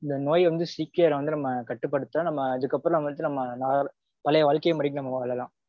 இந்த நோய் வந்து சீக்கிரம் வந்து கட்டுப்படுத்த நம்ம அதுக்கப்பறம் நம்ம வந்து நம்ம பழைய வாழ்க்கை முறைக்கு வாழலாம்.